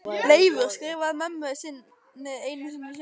Leifur skrifaði mömmu sinni einu sinni sjálfur.